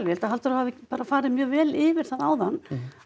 held að Halldór hafi bara farið mjög vel yfir það áðan